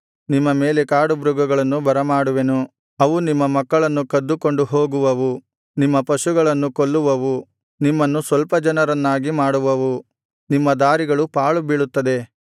ನಿಮ್ಮ ಮೇಲೆ ಕಾಡುಮೃಗಗಳನ್ನು ಬರಮಾಡುವೆನು ಅವು ನಿಮ್ಮ ಮಕ್ಕಳನ್ನು ಕದ್ದುಕೊಂಡು ಹೋಗುವವು ನಿಮ್ಮ ಪಶುಗಳನ್ನು ಕೊಲ್ಲುವವು ನಿಮ್ಮನ್ನು ಸ್ವಲ್ಪ ಜನರನ್ನಾಗಿ ಮಾಡುವವು ನಿಮ್ಮ ದಾರಿಗಳು ಪಾಳು ಬೀಳುತ್ತದೆ